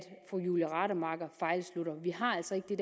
fru julie rademacher fejlslutter vi har altså ikke det